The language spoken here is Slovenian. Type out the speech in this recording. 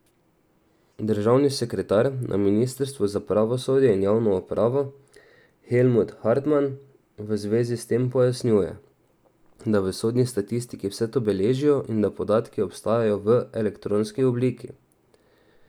Državni sekretar na ministrstvu za pravosodje in javno upravo Helmut Hartman v zvezi s tem pojasnjuje, da v sodni statistiki vse to beležijo in da podatki obstajajo v elektronski obliki.